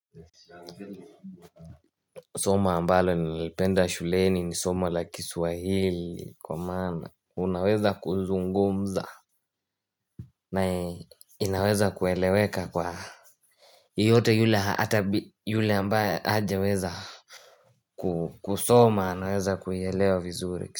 Soma ambalo nilipenda shuleni ni somo la kiswahili Kwa maana unaweza kuzungumza na inaweza kueleweka kwa yeyote yule hata yule ambaye hajaweza kusoma anaweza kuielewa vizuri.